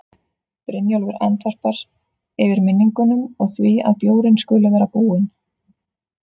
Brynjólfur andvarpar, yfir minningunum og því að bjórinn skuli vera búinn.